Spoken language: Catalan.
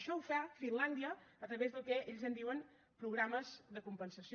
això ho fa finlàndia a través del que ells en diuen programes de compensació